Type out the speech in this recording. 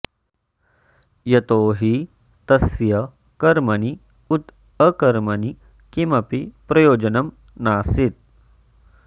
यतो हि तस्य कर्मणि उत अकर्मणि किमपि प्रयोजनं नासीत्